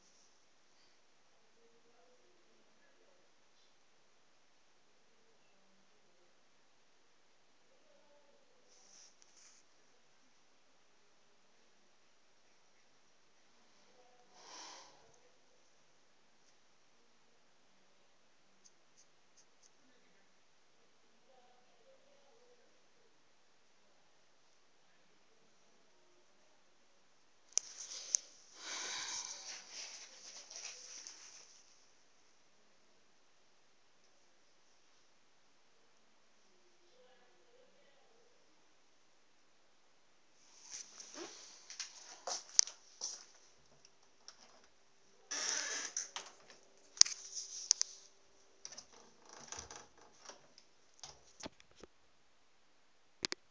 aa nndaa ro livhuwa milenzhe